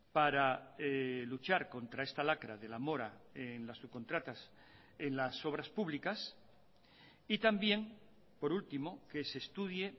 para luchar contra esta lacra de la mora en las subcontratas en las obras publicas y también por último que se estudie